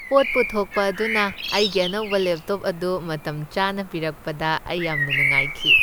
ꯄꯣꯠ ꯄꯨꯊꯣꯛꯄ ꯑꯗꯨꯅ ꯑꯩꯒꯤ ꯑꯅꯧꯕ ꯂꯦꯞꯇꯣꯞ ꯑꯗꯨ ꯃꯇꯝꯆꯥꯅ ꯄꯤꯔꯛꯄꯗ ꯑꯩ ꯌꯥꯝꯅ ꯅꯨꯡꯉꯥꯏꯈꯤ꯫